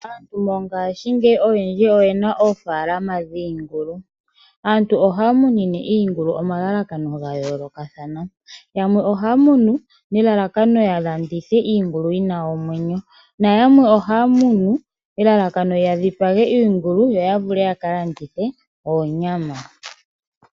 Aantu mongaashingeyi oyendji oye na oofaalama dhiingulu. Aantu ohaya munine iingulu omalalakano ga yolokathana. Yamwe ohaya munu nelalakano ya landithe iingulu yinanomwenyo. Nayamwe ohaya munu elalakano ya dhipage iingulo yo ya vule yaka landithe oonyama.